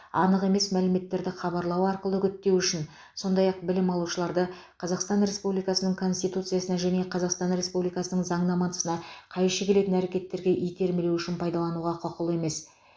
анық емес мәліметтерді хабарлау арқылы үгіттеу үшін сондай ақ білім алушыларды қазақстан республикасының конституциясына және қазақстан республикасының заңнамасына қайшы келетін әрекеттерге итермелеу үшін пайдалануға құқылы емес